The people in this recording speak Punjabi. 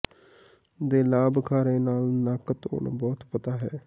ਦੇ ਲਾਭ ਖਾਰੇ ਨਾਲ ਨੱਕ ਧੋਣ ਬਹੁਤ ਪਤਾ ਹੈ